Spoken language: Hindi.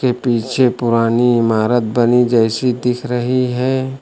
पीछे पुरानी इमारत बनी जैसी दिख रही है।